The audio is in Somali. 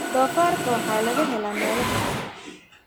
Doofaarka waxaa laga helaa meelo badan.